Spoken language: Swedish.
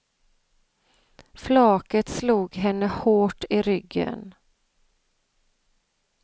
Flaket slog henne hårt i ryggen.